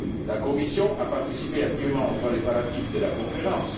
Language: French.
La Commission a participé activement aux préparatifs de la conférence.